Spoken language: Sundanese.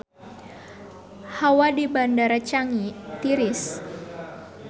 Hawa di Bandara Changi tiris